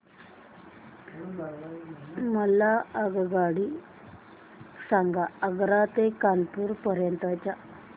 मला आगगाडी सांगा आग्रा ते कानपुर पर्यंत च्या